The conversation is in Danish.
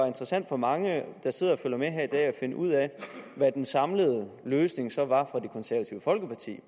interessant for mange der sidder og følger med her i dag at finde ud af hvad den samlede løsning så var fra det konservative folkepartis